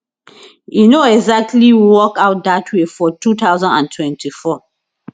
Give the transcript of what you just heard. e no exactly work out dat way for 2024